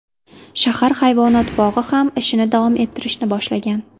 Shahar hayvonot bog‘i ham ishini davom ettirishni boshlagan.